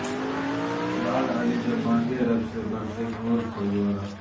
لال علی جب مانگے رب سے برسے نور پھوار